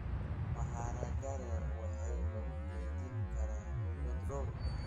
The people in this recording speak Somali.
Maharagare waxay lagu kaydin karaa bilood dhowr.